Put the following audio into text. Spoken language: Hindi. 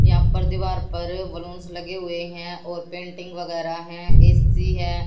यहां पर दीवार पर बलूंस लगे हुए हैं और पेंटिंग वगैरह हैं ए_सी है।